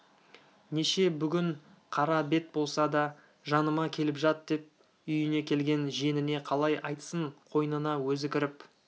неше бүгін қара бет болса да жаныма келіп жат деп үйіне келген жиеніне қалай айтсын қойнына өзі кіріп